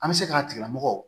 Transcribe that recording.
An bɛ se k'a tigila mɔgɔ